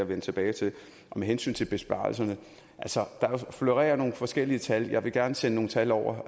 vende tilbage til med hensyn til besparelserne florerer der nogle forskellige tal og jeg vil gerne sende nogle tal over